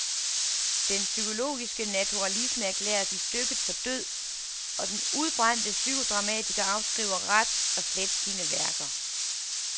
Den psykologiske naturalisme erklæres i stykket for død, og den udbrændte psykodramatiker afskriver ret og slet sine værker.